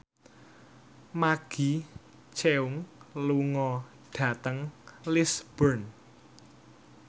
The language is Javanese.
Maggie Cheung lunga dhateng Lisburn